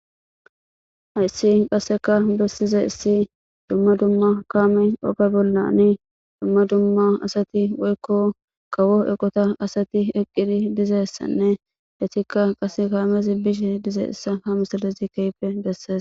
hayssi qasseka bessize issi dumma dumma kaame oga bollani dumma dumma asati woykko kawo eqota asati eqqiri dizessanne hetikka qas kaamezi bishe dize issa ha misalazi keype besses